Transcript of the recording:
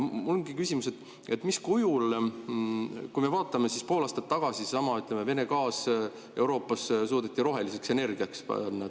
Mul on küsimus, mismoodi, kui me vaatame pool aastat tagasi, seesama Vene gaas, mis Euroopasse, suudeti roheliseks energiaks panna.